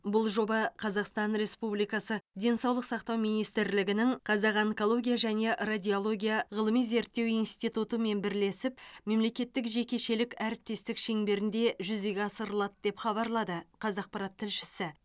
бұл жоба қазақстан республикасы денсаулық сақтау министрлігігінің қазақ онкология және радиология ғылыми зерттеу институттымен бірлесіп мемлекеттік жекешелік әріптестік шеңберінде жүзеге асырылады деп хабарлады қазақпарат тілшісі